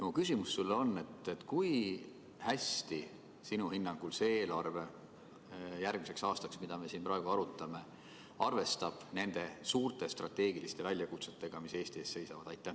Minu küsimus sulle on: kui hästi sinu hinnangul see järgmise aasta eelarve, mida me siin praegu arutame, arvestab nende suurte strateegiliste väljakutsetega, mis Eesti ees seisavad?